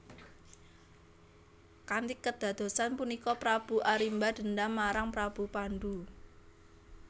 Kanthi kedadosan punika Prabu Arimba dendam marang Prabu Pandu